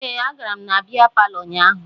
Ee, agara m na bịa palọ ụnyaahụ